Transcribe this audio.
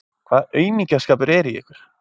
Hvaða aumingjaskapur er í ykkur!